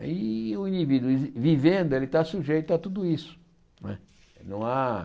Aí o indivíduo vi vivendo ele está sujeito a tudo isso. Não é não há